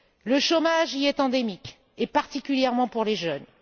Le chômage y est endémique et particulièrement chez les jeunes.